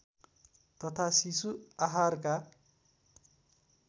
तथा शिशु आहारका